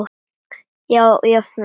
Jafn vel og hún?